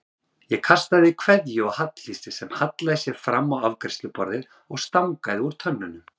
Ég kastaði kveðju á Halldísi sem hallaði sér fram á afgreiðsluborðið og stangaði úr tönnunum.